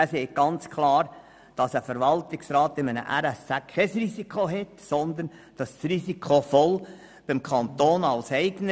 Dieser sagt klar, der Verwaltungsrat eines RSZ trage kein Risiko, sondern dieses liege vollumfänglich beim Kanton als Eigner.